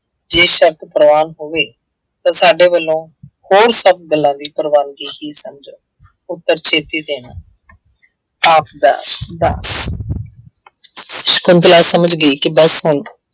ਜੇ ਸਰਤ ਪ੍ਰਵਾਨ ਹੋਵੇ ਤਾਂ ਸਾਡੇ ਵੱਲੋਂ ਹੋਰ ਸਭ ਗੱਲਾਂ ਦੀ ਪ੍ਰਵਾਨਗੀ ਹੀ ਸਮਝੋ ਉੱਤਰ ਛੇਤੀ ਦੇਣਾ ਆਪਦਾ ਦਾਸ ਸਕੁੰਤਲਾ ਸਮਝ ਗਈ ਕਿ ਬਸ ਹੁਣ